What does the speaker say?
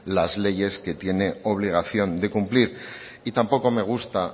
las leyes que tiene obligación de cumplir y tampoco me gusta